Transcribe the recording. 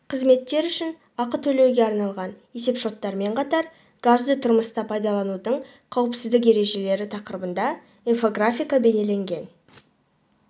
қызметтер үшін ақы төлеуге арналған есеп-шоттармен қатар газды тұрмыста пайдаланудың қауіпсіздік ережелері тақырыбында инфографика бейнеленген